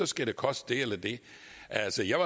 skal det koste det eller det altså jeg